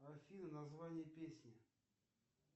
афина название песни